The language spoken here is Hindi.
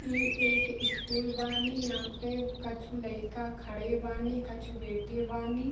इ एक स्कूल बानी यहां पे कछु लइका खड़े बानी कछु बैठे बानी।